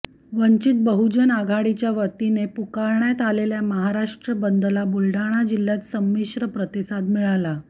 वंचित बहुजन आघाडीच्यावतीने पुकारण्यात आलेल्या महाराष्ट्र बंदला बुलडाणा जिल्ह्यात समिश्र प्रतिसाद मिळाला